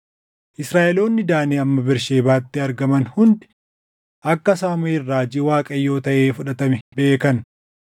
Israaʼeloonni Daanii hamma Bersheebaatti argaman hundi akka Saamuʼeel raajii Waaqayyoo taʼee fudhatame beekan.